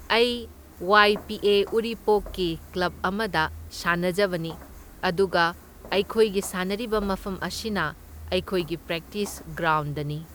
ꯑꯩ Y P A ꯎꯔꯤꯄꯣꯛꯀꯤ club ꯑꯃꯗ ꯁꯥꯅꯖꯕꯅꯤ, ꯑꯗꯨꯒ ꯑꯩꯈꯣꯏꯒꯤ ꯁꯥꯟꯅꯔꯤꯕ ꯃꯐꯝ ꯑꯁꯤꯅ ꯑꯩꯈꯣꯏꯒꯤ ꯄ꯭ꯔꯦꯛꯇꯤꯁ ꯒ꯭ꯔꯥꯎꯟꯗꯅꯤ꯫